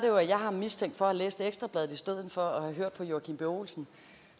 jo at jeg har ham mistænkt for at have læst ekstra bladet i stedet for at have hørt på joachim b olsen